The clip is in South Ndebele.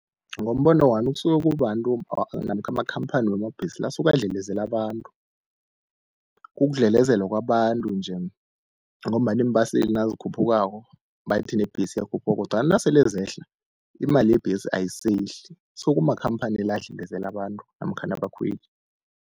Ngombono wami kusuka kubabantu namkha amakhamphani wamabhesi la asuke adlelezela abantu, ukudlelezelwa kwabantu nje. Ngombana iimbaseli nazikhuphukako bathi nebhesi iyakhuphuka kodwana nasele zehla imali yebhesi ayisehli. So kumakhamphani la adlelezela abantu namkhana abakhweli.